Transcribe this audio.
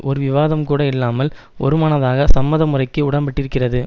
ஒரு விவாதம் கூட இல்லாமல் ஒருமனதாக சம்மத முறைக்கு உடன்பட்டிருக்கிறது